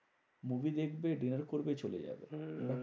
Movie দেখবে, dinner করবে চলে যাবে। হম